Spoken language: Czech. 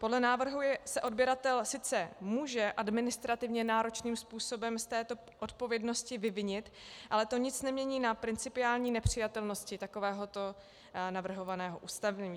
Podle návrhu se odběratel sice může administrativně náročným způsobem z této odpovědnosti vyvinit, ale to nic nemění na principiální nepřijatelnosti takovéhoto navrhovaného ustanovení.